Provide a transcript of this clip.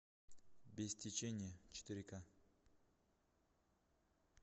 без течения четыре ка